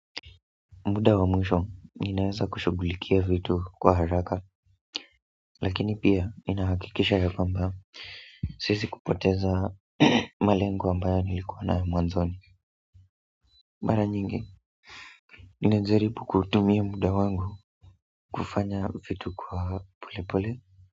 Muda wa mwisho ninaweza kushughulikia vitu kwa haraka. Lakini pia ninahakikisha yakwamba. Sisi kupoteza malengo ambayo nilikua nayo mwanzoni. Mara nyingi ninajaribu kuutumia muda wangu. Kufanya vitu kwa pole pole.